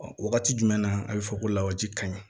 Ɔ wagati jumɛn na a bɛ fɔ ko lawaji ka ɲi